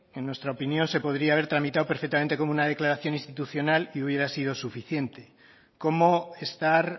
en nuestra opinión se podría haber tramitado perfectamente como una declaración institucional y hubiera sido suficiente cómo estar